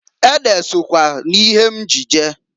Ede sokwa n'ihe m ji je.